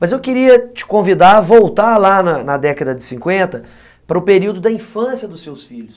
Mas eu queria te convidar a voltar lá na na década de cinquenta para o período da infância dos seus filhos.